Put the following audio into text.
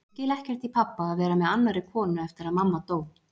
Ég skil ekkert í pabba að vera með annarri konu eftir að mamma dó.